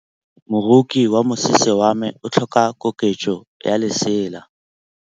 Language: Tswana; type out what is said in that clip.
Moroki wa mosese wa me o tlhoka koketsô ya lesela.